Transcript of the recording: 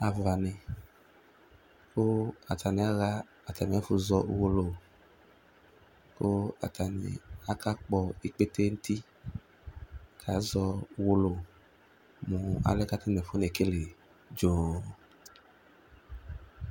Alʋwani kʋ atani axa atami ɛfʋ zɔ ʋwolowʋ kʋ atani aka kpɔ ikpete nʋ ʋti kazɔ ʋwolowʋ mʋ alɛ kʋ atani afɔ nekele dzo